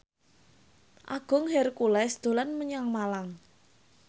Agung Hercules dolan menyang Malang